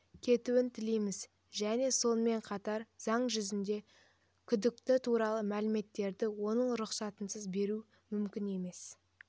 кетуін тілейміз және сонымен қатар заң жүзінде күдікті туралы мәліметтерді оның рұқсатынсыз беру мүмкін емес